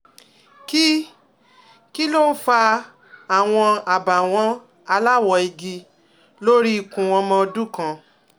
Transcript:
Kí Kí ló ń fa àwọn àbàwọ́n aláwọ̀ igi lórí ikùn ọmọ ọdún kan?